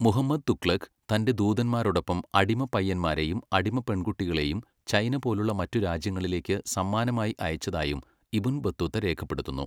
മുഹമ്മദ് തുഗ്ലക് തന്റെ ദൂതന്മാരോടൊപ്പം അടിമപ്പയ്യന്മാരെയും അടിമപ്പെൺകുട്ടികളെയും ചൈന പോലുള്ള മറ്റ് രാജ്യങ്ങളിലേക്ക് സമ്മാനമായി അയച്ചതായും ഇബ്ൻ ബത്തൂത്ത രേഖപ്പെടുത്തുന്നു.